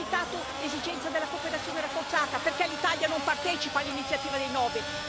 Ha citato l'esigenza della cooperazione rafforzata, ma perché l'Italia non partecipa all'iniziativa dei nove?